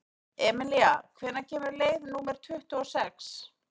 Emelína, hvenær kemur leið númer tuttugu og sex?